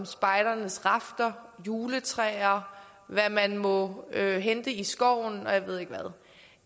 spejdernes rafter juletræer hvad man må hente i skoven og jeg ved ikke hvad